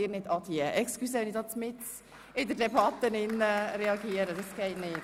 – Entschuldigen Sie, dass ich hier mitten in der Debatte reagiere, aber das geht nicht!